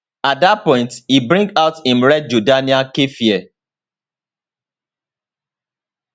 at dat point he bring out im red jordanian keffiyeh